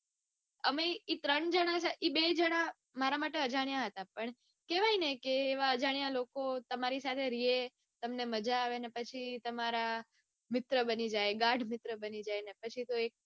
અમે ઈ ટ્રે જણા બે જણા મારા માટે અજાણ્યા હતા પણ કેવાય ને કે એવા અજાણ્યા લોકો તમારી સાથે રેને પછી તમને મજા આવે ને પછી તો તમારા મિત્ર બની જાય ગાઢ મિત્ર બની જાય. ને પછી તો